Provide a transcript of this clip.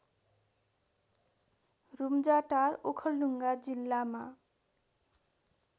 रूम्जाटार ओखलढुङ्गा जिल्लामा